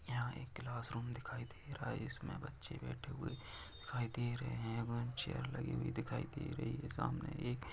यहाँ एक क्लासरूम दिखाई दे रहा है इसमें बच्चे बैठे हुए दिखाई दे रहे है वहा चेयर लगी हुई दिखाई दे रही है सामने एक --